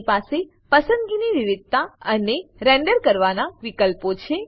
તેની પાસે પસંદગીની વિવિધતા અને રેન્ડર કરવાના વિકલ્પો છે